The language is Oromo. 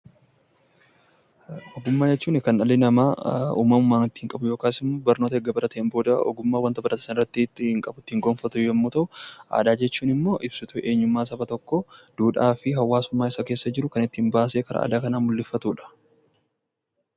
Ogummaa jechuun kan dhalli namaa uumamaan qabu barnoota erga baratee booda waayee wanta baratee sanaa ittiin gonfatu yoo ta'u, aadaa jechuun immoo ibsituu Saba tokkoo duudhaa fi hawaasummaa Isa keessa jiru baasee karaa aadaa kan mul'ifatudha.